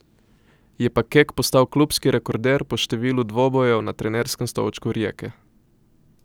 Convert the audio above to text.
Je pa Kek postal klubski rekorder po številu dvobojev na trenerskem stolčku Rijeke.